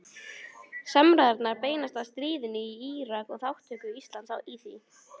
Samræðurnar beinast að stríðinu í Írak og þátttöku Íslands í því.